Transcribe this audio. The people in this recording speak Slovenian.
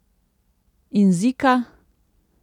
In zika?